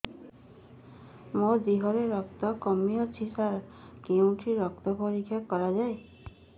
ମୋ ଦିହରେ ରକ୍ତ କମି ଅଛି ସାର କେଉଁଠି ରକ୍ତ ପରୀକ୍ଷା କରାଯାଏ